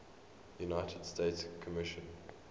united nations commission